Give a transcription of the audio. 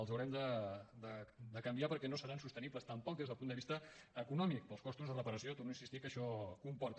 els haurem de canviar perquè no seran sostenibles tampoc des del punt vista econòmic pels costos de reparació hi torno a insistir que això comporta